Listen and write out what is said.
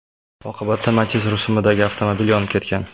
Oqibatda Matiz rusumidagi avtomobil yonib ketgan.